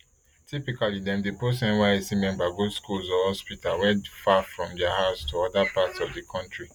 typically dem dey post nysc member go schools or hospitals wey far from dia house to oda parts of di kontri